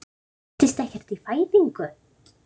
Styttist ekkert í fæðingu?